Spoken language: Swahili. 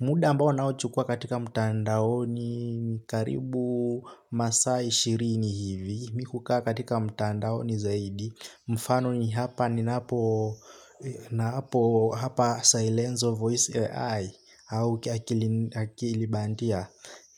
Muda ambao naochukua katika mtandaoni karibu masa ishirini hivi, mi huka katika mtandaoni zaidi, mfano ni hapa ni naapo, naapo hapa silence of voice AI au akiakili bandia,